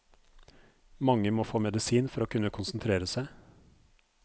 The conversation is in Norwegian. Mange må få medisin for å kunne konsentrere seg.